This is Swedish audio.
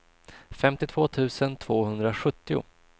femtiotvå tusen tvåhundrasjuttio